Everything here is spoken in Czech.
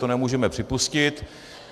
To nemůžeme připustit.